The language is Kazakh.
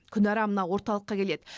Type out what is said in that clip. күнара мына орталыққа келеді